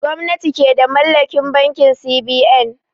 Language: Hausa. Gwamnati ke da mallakin bankin C.B.N